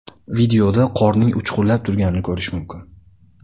Videoda qorning uchqunlab turganini ko‘rish mumkin.